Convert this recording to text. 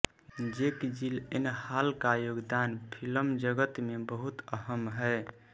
जेक Gyllenhaal का योगदान फिल्म जगत में बहुत अहम् है